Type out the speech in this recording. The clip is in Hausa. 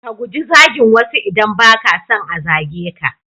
Ka guji zagin wasu idan ba ka son a zage ka.